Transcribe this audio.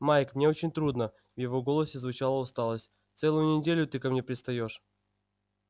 майк мне очень трудно в его голосе звучала усталость целую неделю ты ко мне пристаёшь